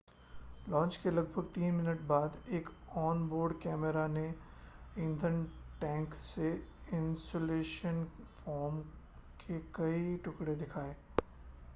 launch के लगभग 3 minute बाद एक ऑन-बोर्ड कैमरा ने ईंधन टैंक से इन्सुलेशन फ़ोम के कई टुकड़े दिखाए